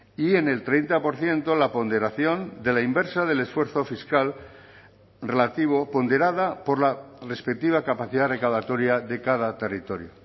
y en el treinta por ciento la ponderación de la inversa del esfuerzo fiscal relativo ponderada por la respectiva capacidad recaudatoria de cada territorio